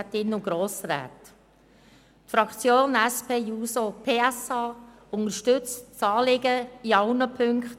Die Fraktion SP-JUSO-PSA unterstützt das Anliegen in allen Punkten.